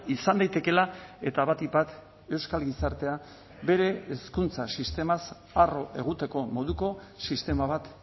izan daitekeela eta batik bat euskal gizartea bere hezkuntza sistemaz harro egoteko moduko sistema bat